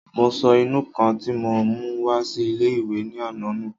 Mo sọ ìnù-ǹkan tí mo mú wá sí ilé-ìwé ní àná nù